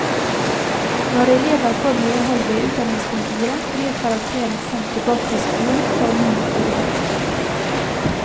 Når elever får medhold ved utdanningskontoret, blir karakteren sendt tilbake til skolen for ny vurdering.